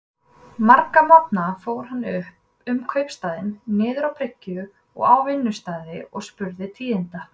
Marga morgna fór hann um kaupstaðinn, niður á bryggju og á vinnustaði, og spurði tíðinda.